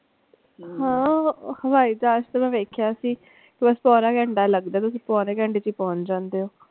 ਹਾਂ ਹਵਾਈ ਜਹਾਜ ਤੇ ਮੈਂ ਵੇਖਿਆ ਸੀ ਬਸ ਪਾਉਣਾ ਘੰਟਾ ਲਗਦਾ ਹੈ ਤੁਸੀਂ ਪੌਣੇ ਘੰਟੇ ਚ ਹੀ ਪਹੁੰਚ ਜਾਂਦੇ ਓ।